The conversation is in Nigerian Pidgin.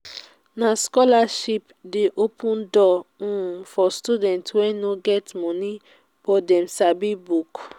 na scholarship dey open door um for students wey no get moni but dem sabi book.